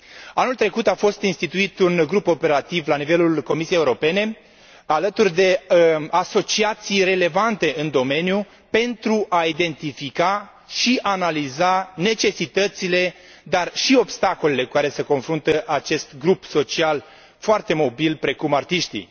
Anul trecut a fost instituit un grup operativ la nivelul Comisiei Europene, alături de asociații relevante în domeniu pentru a identifica și analiza necesitățile, dar și obstacolele cu care se confruntă acest grup social foarte mobil, precum artiștii.